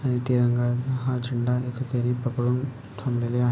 आणि तिरंगा हा झेंडा इथे पकडून ठेवलेला आहे.